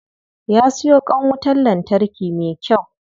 Ya siyo kwan wutan lantarki me kyau.